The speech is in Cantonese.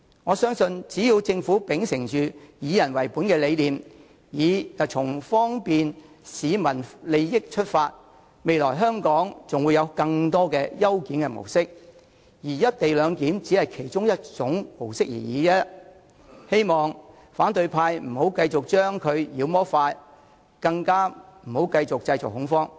我相信只要政府秉承"以人為本"的理念，以方便市民利益為出發點，則未來香港還會有更多的優檢模式，而"一地兩檢"只是其中一種而已，希望反對派議員不要再將其妖魔化，更不要繼續製造恐慌了。